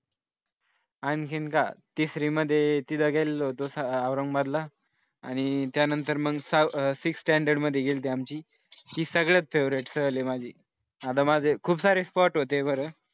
आणखीन तिसरी मध्ये तिथे गेलो होतो औरंगाबादला आणि त्यानंतर मग सहा sixth standard मध्ये गेली होती आमची ती सगळ्यात favorite सहल आहे माझी आता माझं खूप सारे spot होते बरं